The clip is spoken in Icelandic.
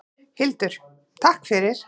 Hildur: Takk fyrir.